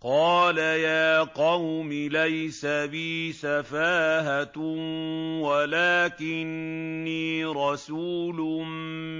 قَالَ يَا قَوْمِ لَيْسَ بِي سَفَاهَةٌ وَلَٰكِنِّي رَسُولٌ